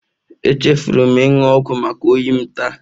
Echefuru m ịnụ ọgwụ maka oyi m taa